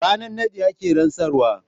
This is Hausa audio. Ranar naɗi ake rantsarwa.